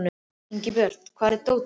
Ingibjört, hvar er dótið mitt?